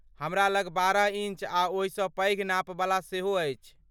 हमरा लग बारह इन्च आ ओहिसँ पैघ नापवला सेहो अछि।